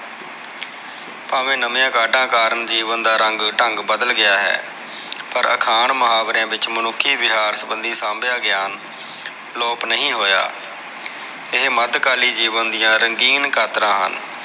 ਭਾਵੇ ਨਵੀਆ ਕਾਢਾ ਕਰਕੇ ਜੀਵਨ ਦਾ ਰੰਗ ਢੰਗ ਬਦਲ ਗਿਆ ਹੈ ਪਰ ਅਖਾਣ ਮੁਹਾਵਰਿਆ ਵਿਚ ਮਨੁਖੀ ਵਿਹਾਰ ਸਬੰਧੀ ਸਾਭਿਆ ਗਿਆਨ ਅਲੋਪ ਨਹੀ ਹੋਇਆ ਇਹ ਮਧਕਾਲੀ ਜੀਵਨ ਦੀਆ ਰੰਗੀਨ ਕਾਤਰਾ ਹਨ